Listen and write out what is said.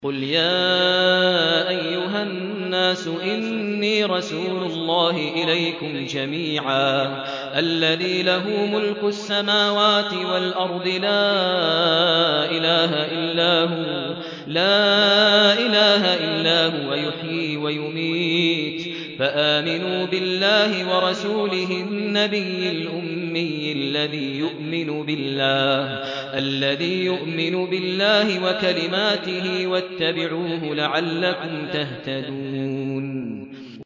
قُلْ يَا أَيُّهَا النَّاسُ إِنِّي رَسُولُ اللَّهِ إِلَيْكُمْ جَمِيعًا الَّذِي لَهُ مُلْكُ السَّمَاوَاتِ وَالْأَرْضِ ۖ لَا إِلَٰهَ إِلَّا هُوَ يُحْيِي وَيُمِيتُ ۖ فَآمِنُوا بِاللَّهِ وَرَسُولِهِ النَّبِيِّ الْأُمِّيِّ الَّذِي يُؤْمِنُ بِاللَّهِ وَكَلِمَاتِهِ وَاتَّبِعُوهُ لَعَلَّكُمْ تَهْتَدُونَ